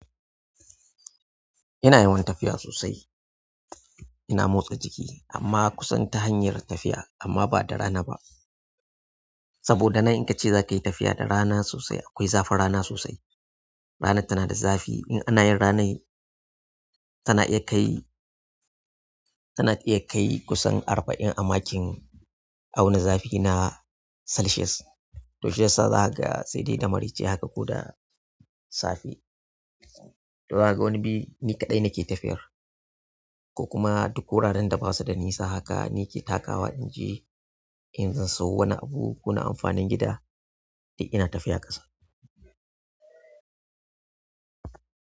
Ina yawan tafiya sosai. Ina motsa jiki amma kusan ta hanyar tafiya amma ba da rana ba. Saboda nan in ka ce za ka yi tafiya da rana sosai akwai zafin rana sosai. Rana tana da zafi. In ana yin ranai tana iya kai, tana iya kai kusan arba'in a makin auna zafi na Celsius to shiyasa zakaga sai dai da maraice haka ko da safe. To zakaga wani bi ni kaɗai nake tafiyar ko kuma duk wuraren da basu da nisa haka ni ke takawa in je in zan sayo wani abu ko na amfanin gida, duk ina tafiya ƙasa.